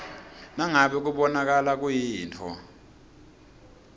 nangabe kubonakala kuyintfo